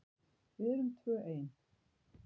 Við erum tvö ein.